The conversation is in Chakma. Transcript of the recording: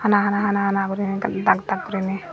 hana hana hana hana guriney dag dag goriney.